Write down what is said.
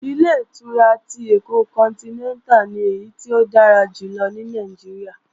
Ilé-ìtura ti Èkó kọntinẹ́ntà ni èyí tó dára jù lọ ní Nàìjíríà